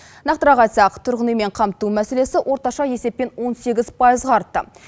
нақтырақ айтсақ тұрғын үймен қамту мәселесі орташа есеппен он сегіз пайызға артты